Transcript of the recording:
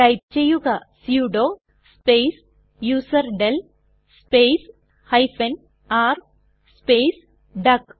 type ചെയ്യുക sudo space userdel space r space duck